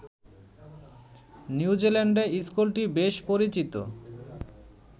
নিউজিল্যান্ডে স্কুলটি বেশ পরিচিত